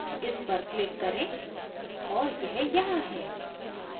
इस पर click करें और यह यहाँ है